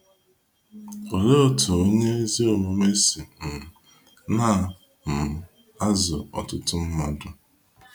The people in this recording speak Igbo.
Olee otú onye ezi omume si um na - um azụ ọtụtụ mmadụ?